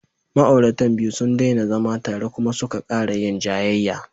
Ma'auratan biyu sun daina zama tare kuma suka ƙara yin jayayya.